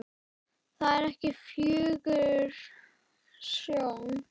Það er ekki fögur sjón.